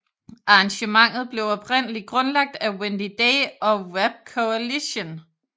Arrangementet blev oprindelig grundlagt af Wendy Day og Rap Coalition